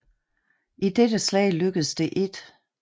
I dette slag lykkedes det 1